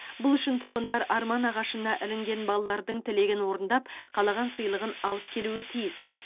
бұл үшін тұрғындар арман ағашына ілінген балалардың тілегін орындап қалаған сыйлығын алып келуі тиіс